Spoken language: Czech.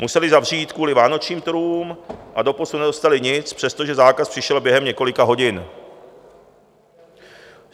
Museli zavřít kvůli vánočním trhům a doposud nedostali nic, přestože zákaz přišel během několika hodin.